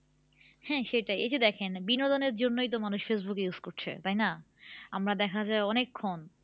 হ্যাঁ সেটাই এই যে দেখেন বিনোদনের জন্যই তো মানুষ ফেসবুক use করছে তাই না? আমরা দেখা যায় অনেকক্ষণ